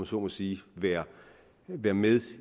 så må sige være være med